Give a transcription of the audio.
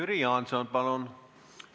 Jüri Jaanson, palun!